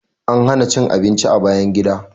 An hana cin abinci a bayan gida.